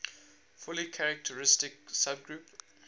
fully characteristic subgroup